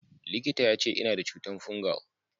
Likita ya ce, Ina da cutan fungal.